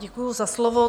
Děkuji za slovo.